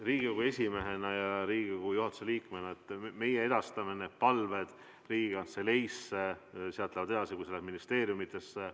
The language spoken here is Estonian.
Riigikogu esimehena ja Riigikogu juhatuse liikmena, et meie edastame teie palved Riigikantseleisse, sealt lähevad need edasi ministeeriumidesse.